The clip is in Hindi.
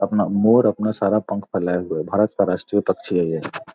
अपना मोर अपना सारा पंख फैलाए हुए है भारत का राष्ट्रीय पक्षी है ये।